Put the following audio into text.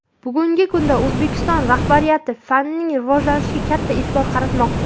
Bugungi kunda O‘zbekiston rahbariyati fanning rivojlanishiga katta e’tibor qaratmoqda.